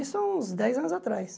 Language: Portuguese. Isso há uns dez anos atrás.